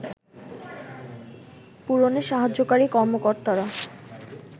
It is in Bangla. পূরণে সাহায্যকারী কর্মকর্তারা